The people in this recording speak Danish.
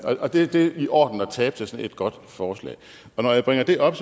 og det er i orden at tabe til sådan et godt forslag når jeg bringer det op